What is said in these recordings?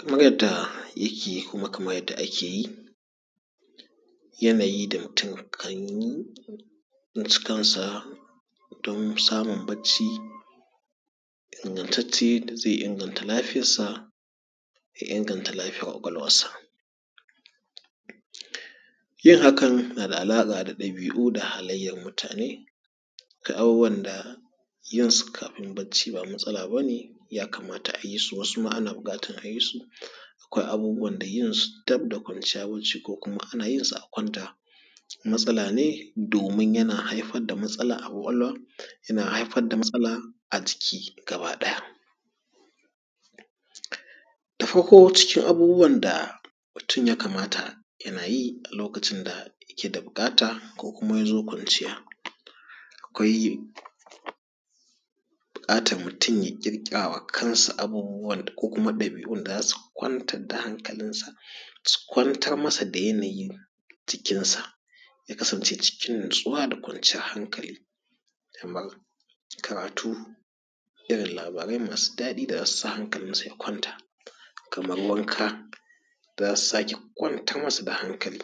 Kamar yadda ya ke kuma kamar yadda ake yi, yanayi da mutum kan yi na cikin sa don samun bacci ingantacce da zai inganta lafiyar sa, ya inganta lafiyar ƙwaƙwalwar sa. Yin hakan na da alaƙa da ƙabi’u da halayyar mutane kan abubuwan da yin su kafin bacci ba matsala ba ne, ya kamata a yi su wasu ma ana buƙatar a yi su, akwai abubuwan da yin su dab da kwanciya bacci ko kuma ana yin su a kwanta matsala ne domin yana haifar da matsala a ƙwaƙwalwa, yana haifar da matsala a jiki gaba ɗaya. Da farko cikin abubuwan da mutum ya kamata yana yi a lokacin da yake da buƙata ko kuma ya zo kwanciya; akwai buƙatar mutum ya ƙirƙirawa kansa abubuwar da ko kuma ɗabi’un da za su kwantar da hankalin sa, su kwantarmasa da yanayin jikin sa, ya kasance cikin natsuwa da kwanciyar hankali kamar karatu, irin labarai masu daɗi da za su sa hankalin sa ya kwanta. Kamar wanka za su sake kwantar masa da hankali.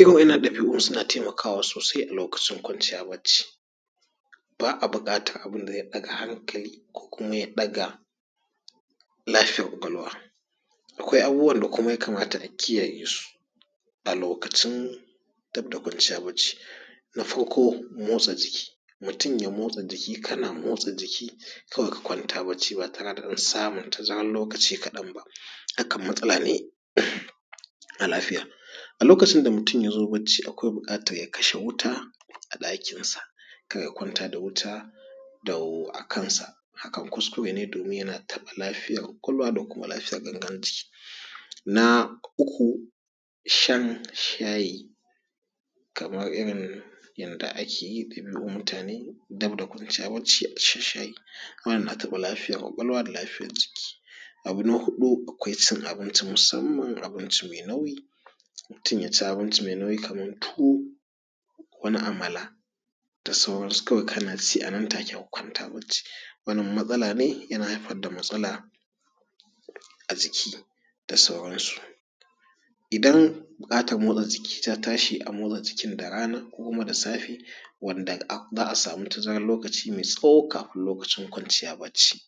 Irin wannan ɗabi’un suna taimakawa sosai a lokacin kwanciya bacci, ba a buƙatar abin da zai ɗaga hankali ko kuma ya ɗaga lafiyar ƙwaƙwalwa. Akwai kuma abubuwan da ya kamata a kiyaye su a lokacin dab da kwanciya bacci, na farko motsa jiki: Mutum ya motsa ji kana motsa jiki kawai ka kwanta bacci ba tare da wani samun tazaran lokaci kaɗan ba, hakan matsala ne a lafiya. A lokacin da mutum ya zo bacci akwai buƙatar ya kashe wuta a ɗakin sa, kar ya kwanta da wuta dau a kan sa, hakan kuskure ne yana taɓa lafiyar kwakwalwa da kuma lafiyar gangar jiki. Na uku shan shayi kamar irin yanda ake yi ɗin lu mutane dab da kwanciya bacci a sha shayi, wannan yana taɓa lafiyar ƙwaƙwalwa da lafiyar jiki. Abu na huɗu akwai cin abinci musamman abinci mai nauyi, mutum ya ci abinci mai nauyi kamar tuwo, wani amala da sauran su kawai ka na ci a nan take ka kwanta bacci, wannan matsala ne, yana haifar da matsala a jiki da sauran su. Idan buƙatar motsa jiki ta tashi, a motsa jikin da rana ko kuma da safe wanda za a samu tazaran lokaci mai tsawo kafin lokacin kwanciya bacci.